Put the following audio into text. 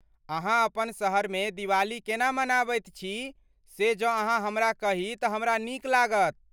अहाँ अपन शहरमे दिवाली केना मनाबैत छी से जँ अहाँ हमरा कही तऽ हमरा नीक लागत।